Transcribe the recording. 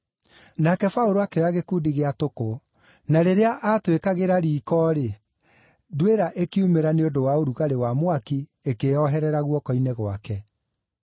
Nake Paũlũ akĩoya gĩkundi gĩa tũkũ, na rĩrĩa aatũĩkagĩra riiko-rĩ, nduĩra ĩkiumĩra nĩ ũndũ wa ũrugarĩ wa mwaki, ĩkĩĩoherera guoko-inĩ gwake.